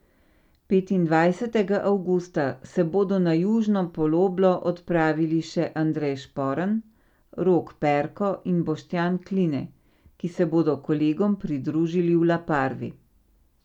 Petindvajsetega avgusta, se bodo na južno poloblo odpravili še Andrej Šporn, Rok Perko in Boštjan Kline, ki se bodo kolegom pridružili v La Parvi.